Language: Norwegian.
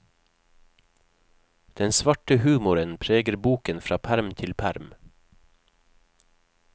Den svarte humoren preger boken fra perm til perm.